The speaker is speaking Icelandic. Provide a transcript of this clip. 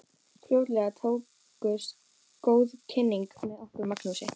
Fljótlega tókust góð kynni með okkur Magnúsi.